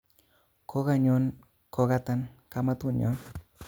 Kokanyon kokatan kamatunyon